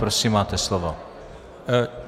Prosím, máte slovo.